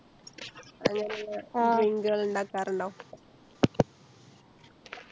അങ്ങനിള്ള drink കൾ ഇണ്ടാക്കാർ ഇണ്ടോ